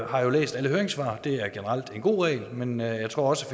har læst alle høringssvarene det er generelt en god regel men jeg tror også